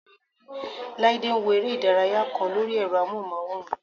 Láídé ń wo eré ìdárayá kan lórí ẹ̀rọ amóhùnmáwòrán